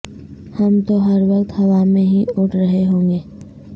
ہم تو ہر وقت ہوا میں ہی اڑ رہے ہوں گے